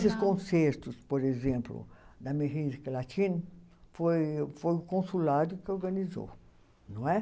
concertos, por exemplo, da Latina, foi o consulado que organizou, não é?